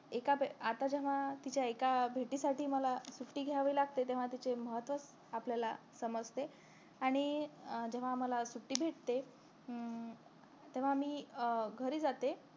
एका आत्ता जेव्हा तिच्या एका भेटीसाठी मला सुट्टी घ्यावी लागते तेव्हा तिचे महत्व आपल्याला समजते आणि अं जेव्हा आम्हाला सुट्टी भेटते हम्म तेव्हा मी अं घरी जाते